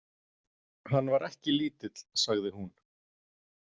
Hann var ekki lítill, sagði hún.